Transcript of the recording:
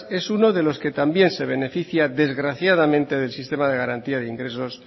es uno de los que también se beneficia desgraciadamente del sistema de garantía de ingresos